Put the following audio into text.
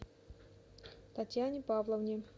татьяне павловне